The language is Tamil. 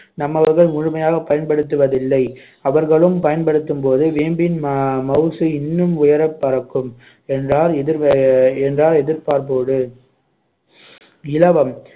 நம்மவர்கள் முழுமையாகப் பயன்படுத்துவதிவில்லை அவர்களும் பயன்படுத்தும்போது வேம்பின் ம~ அஹ் மவுசு இன்னும் உயரப் பறக்கும் என்றார் எதிர் என்றார் எதிர்பார்ப்போடு இலவம்